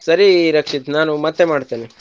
ಸರಿ ರಕ್ಷಿತ್ ನಾನು ಮತ್ತೆ ಮಾಡ್ತೇನೆ.